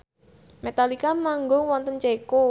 Metallica manggung wonten Ceko